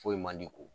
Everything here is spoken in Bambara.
Foyi man di ko